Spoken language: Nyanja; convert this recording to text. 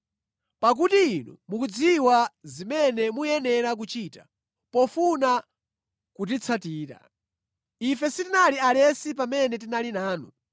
Pakuti inu mukudziwa zimene muyenera kuchita pofuna kutitsatira. Ife sitinali alesi pamene tinali nanu